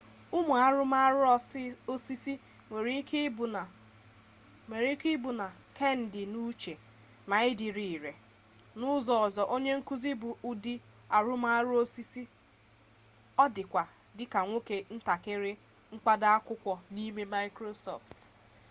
ụmụ arụrụmarụ osisi nwere ike ịbụ ma kendịnuche ma ịdịrị ire n'ụzọ ọzọ onye nkuzi bụ ụdị arụrụmarụ osisi mana ọ dịkwa dị ka nwoke ntakịrị mkpado akwụkwọ n'ime microsoft office